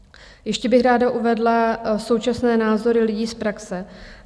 Ještě bych ráda uvedla současné názory lidí z praxe.